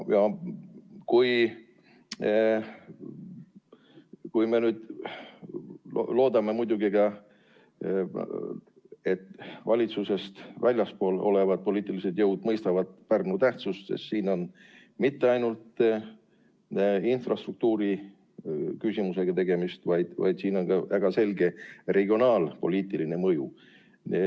Kuid me loodame muidugi ka seda, et valitsusest väljaspool olevad poliitilised jõud mõistavad Pärnu tähtsust, sest siin ei ole mitte ainult infrastruktuuri küsimusega tegemist, vaid sel on ka väga selge regionaalpoliitiline mõju.